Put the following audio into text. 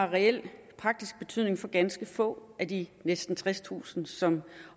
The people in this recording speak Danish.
reel praktisk betydning for ganske få af de næsten tredstusind som